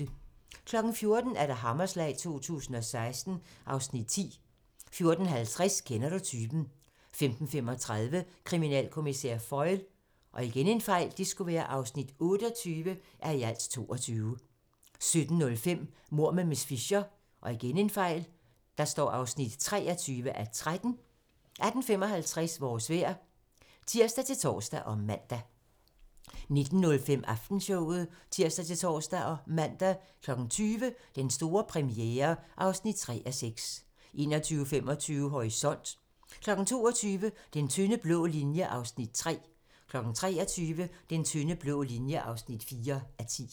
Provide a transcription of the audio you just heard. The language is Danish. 14:00: Hammerslag 2016 (Afs. 10) 14:50: Kender du typen? 15:35: Kriminalkommissær Foyle (28:22) 17:05: Mord med miss Fisher (23:13) 18:55: Vores vejr (tir-tor og man) 19:05: Aftenshowet (tir-tor og man) 20:00: Den store premiere (3:6) 21:25: Horisont (tir) 22:00: Den tynde blå linje (3:10) 23:00: Den tynde blå linje (4:10)